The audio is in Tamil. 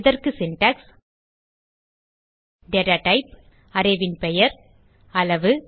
இதற்கு Syntax data டைப் arrayன் பெயர் அளவு